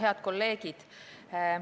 Head kolleegid!